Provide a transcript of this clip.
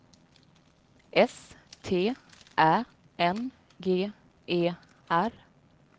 S T Ä N G E R